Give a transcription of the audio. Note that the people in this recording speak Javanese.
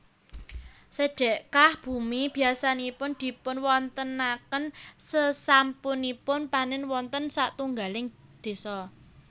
Sedhekah bumi biasanipun dipunwontenaken sasampunipun panèn wonten satunggaling désa